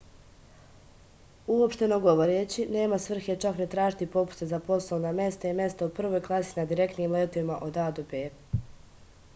uopšteno govoreći nema svrhe čak ni tražiti popuste za poslovna mesta i mesta u prvoj klasi na direktnim letovima od a do b